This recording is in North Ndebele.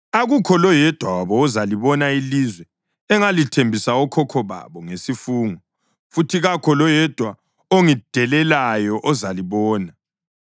akukho loyedwa wabo ozalibona ilizwe engalithembisa okhokho babo ngesifungo. Futhi kakho loyedwa ongidelelayo ozalibona.